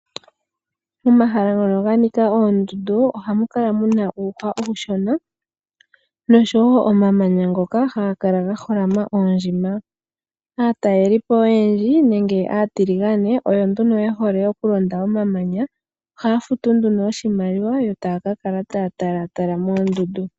Momahala ngono ganika oondundu ohamu kala muna uupa uushona noshowoo omamanya ngoka haga kala gaholama oondjima. Aazayizayi nenge aatiligane oyendji oyo nduno yehole okulonda omamanya. Ohaya futu nduno oshimaliwa yotaakakala taatala oondundu.